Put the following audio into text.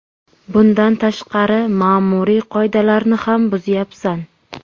Bundan tashqari, ma’muriy qoidalarni ham buzyapsan.